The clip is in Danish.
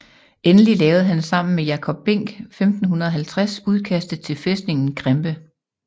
Endelig lavede han sammen med Jacob Binck 1550 udkastet til fæstningen Krempe